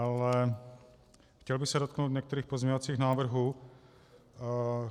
Ale chtěl bych se dotknout některých pozměňovacích návrhů.